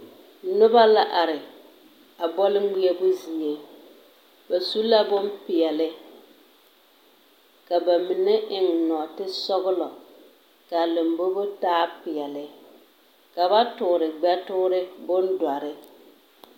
Noba la are a bͻle ŋmeԑbo zie. Ba su la bompeԑle ka ba mine eŋ nͻͻte sͻgelͻ kaa lombobo taa peԑle ka ba toore gbԑ toore bondͻre.